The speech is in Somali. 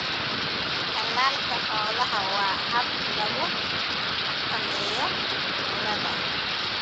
Tallaalka xoolaha waa hab lagu xakameeyo cudurrada.